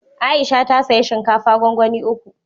Aisha ta saya shinkafa gwangwani uku